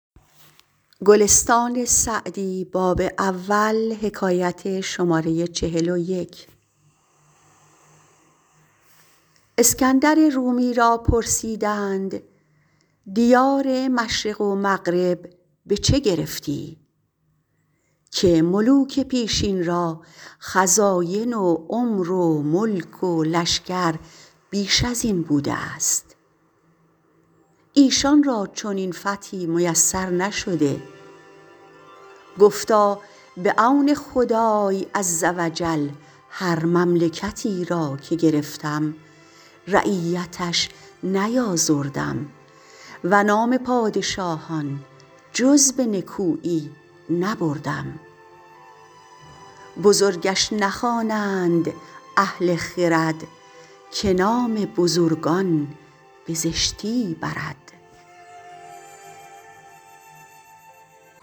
اسکندر رومی را پرسیدند دیار مشرق و مغرب به چه گرفتی که ملوک پیشین را خزاین و عمر و ملک و لشکر بیش از این بوده است ایشان را چنین فتحی میسر نشده گفتا به عون خدای عزوجل هر مملکتی را که گرفتم رعیتش نیآزردم و نام پادشاهان جز به نکویی نبردم بزرگش نخوانند اهل خرد که نام بزرگان به زشتی برد